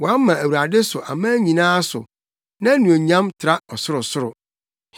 Wɔama Awurade so aman nyinaa so, nʼanuonyam tra ɔsorosoro.